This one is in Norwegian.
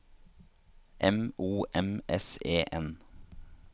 M O M S E N